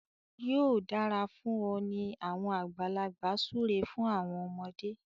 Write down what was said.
yóò dára fún ọ ni awọn àgbàlagbà súré fún àwọn ọmọde.